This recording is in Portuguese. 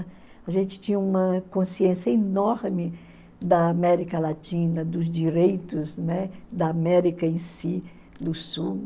A gente tinha uma consciência enorme da América Latina, dos direitos, né, da América em si, do Sul.